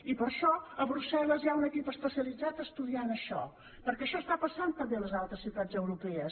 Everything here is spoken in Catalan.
i per això a brusselles hi ha un equip especialitzat que estudia això perquè això passa també a les altres ciutats europees